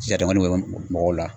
wari bɛ bɔ mɔgɔw la